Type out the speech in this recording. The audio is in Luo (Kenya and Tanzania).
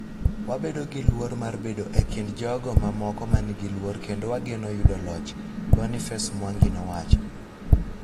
Wabedo gi luor mar bedo e kind jogo mamoko ma nigi luor kendo wageno yudo loch, Boniface Mwangi nowacho.